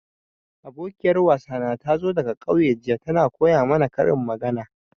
Abokiyar wasana tazo daga ƙauye jiya, ta na koya mana karin magana.